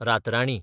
रातराणी